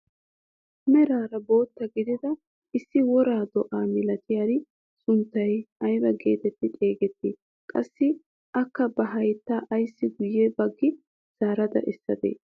Meraara bootta gidida issi woraa do'a milatiyaari sunttay ayba getetti xeegetti? qassi akka ba hayttaa ayssi guye baggi zaarada essadee?